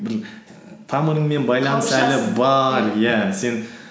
бір тамырыңмен иә сен